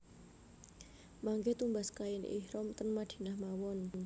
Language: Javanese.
Mangke tumbas kain ihram ten Madinah mawon